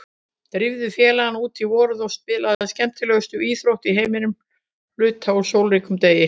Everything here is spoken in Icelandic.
Drífðu félagana út í vorið og spilið skemmtilegustu íþrótt í heimi hluta úr sólríkum degi.